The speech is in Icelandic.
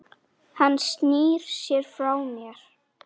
Hann snýr sér frá mér.